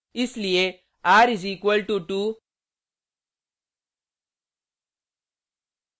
इसलिए r = 2;